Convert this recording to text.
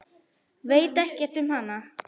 Veit ekkert um hana.